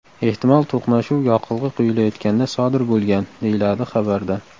Ehtimol to‘qnashuv yoqilg‘i quyilayotganda sodir bo‘lgan”, deyiladi xabarda.